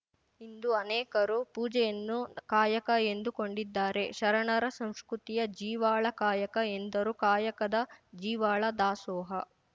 ಇಂದು ಅನೇಕರು ಪೂಜೆಯನ್ನು ಕಾಯಕ ಎಂದು ಕೊಂಡಿದ್ದಾರೆ ಶರಣರ ಸಂಸ್ಕೃತಿಯ ಜೀವಾಳ ಕಾಯಕ ಎಂದರು ಕಾಯಕದ ಜೀವಾಳ ದಾಸೋಹ